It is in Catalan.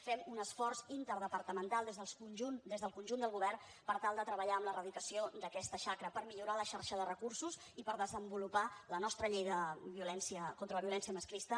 fem un esforç interdepartamental des del conjunt del govern per tal de treballar en l’erradicació d’aquesta xacra per millorar la xarxa de recursos i per desenvolupar la nostra llei contra la violència masclista